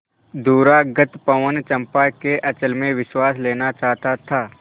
दूरागत पवन चंपा के अंचल में विश्राम लेना चाहता था